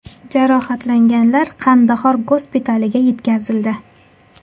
Jarohatlanganlar Qandahor gospitaliga yetkazildi.